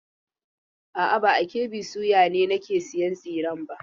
A'a, ba a KB soya ne nake sayan tsiren ba.